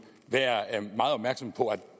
være meget opmærksomme på at